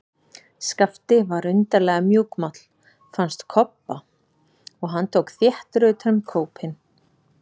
Skapti var undarlega mjúkmáll, fannst Kobba, og hann tók þéttar utan um kópinn.